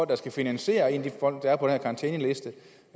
der skal finansiere de folk der er på den her karantæneliste